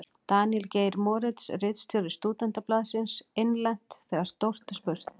Daníel Geir Moritz, ritstjóri Stúdentablaðsins: Innlent: Þegar stórt er spurt.